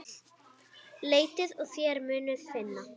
Leitið og þér munuð finna!